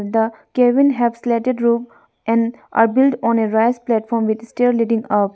the cabin have slatted room and a build on a raise platform with a stair leading up.